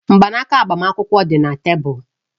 Mgbanaka agbamakwụkwọ dị na tebụl